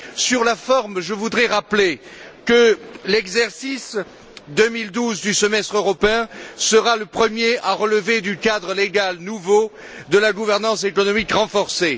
Sur la forme, je voudrais rappeler que l'exercice 2012 du semestre européen sera le premier à relever du cadre légal nouveau de la gouvernance économique renforcée.